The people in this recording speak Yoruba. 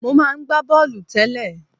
Mo máa ń gba bọ́ọ̀lù tẹ́lẹ̀.